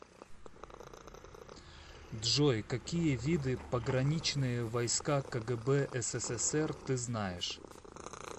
джой какие виды пограничные войска кгб ссср ты знаешь